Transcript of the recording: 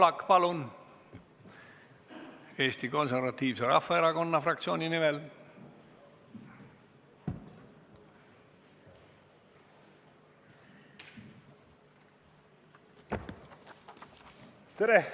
Siim Pohlak Eesti Konservatiivse Rahvaerakonna fraktsiooni nimel, palun!